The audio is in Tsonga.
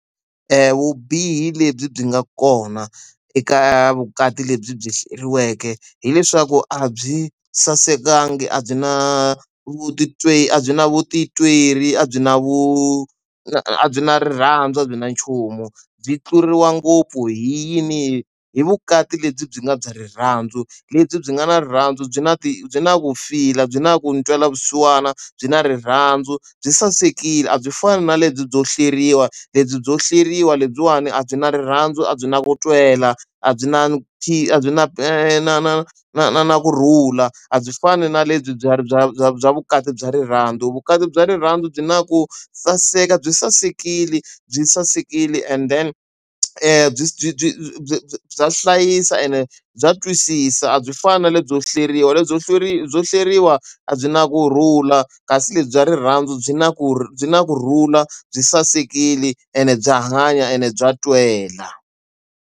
Vubihi lebyi byi nga kona eka vukati lebyi hleriweke hileswaku a byi sasekanga a byi na vutitwi a byi na vutitwi leri a byi na vu a byi na rirhandzu a byi na nchumu byi tluriwa ngopfu hi yini hi vukati lebyi byi nga bya rirhandzu lebyi byi nga na rirhandzu byi na ti byi na vu fila byi na ku ntwela vusiwana byi na rirhandzu byi sasekile a byi fani na lebyo hleriwa lebyo hleriwa lebyiwani a byi na rirhandzu a byi na ku twela a byi na khi a byi na na na na na na na kurhula a byi fani na lebyi bya bya bya bya vukati bya rirhandzu vukati bya rirhandzu byi na ku saseka byi sasekile byi sasekile and then a byi byi byi bya hlayisa ene bya twisisa a byi fani na lebyo hleriwa lebyo hlwerile lebyo hleriwa a byi na kurhula kasi lebyi bya rirhandzu byi na ku byi na kurhula byi sasekile ene bya hanya ene bya twela.